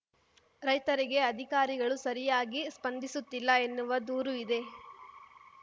ರೈತರಿಗೆ ಅಧಿಕಾರಿಗಳೂ ಸರಿಯಾಗಿ ಸ್ಪಂದಿಸುತ್ತಿಲ್ಲ ಎನ್ನುವ ದೂರು ಇದೆ